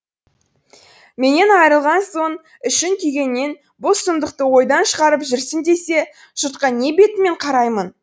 менен айырылған соң ішің күйгеннен бұл сұмдықты ойдан шығарып жүрсің десе жұртқа не бетіммен қараймын